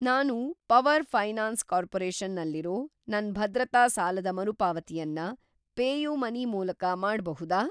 ನಾನು Power Finance Corporation ನಲ್ಲಿರೋ ನನ್‌ ಭದ್ರತಾ ಸಾಲದ ಮರುಪಾವತಿಯನ್ನ ಪೇಯುಮನಿ ಮೂಲಕ ಮಾಡ್ಬಹುದಾ?